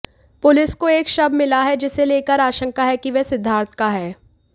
police को एक शव मिला है जिसे लेकर आशंका है कि वह सिद्धार्थ का है